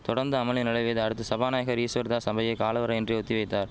தொடந்து அமளி நிலவியதை அடுத்து சபாநாயகர் ஈஸ்வர்தாஸ் சபையை காலவரையின்றி ஒத்தி வைத்தார்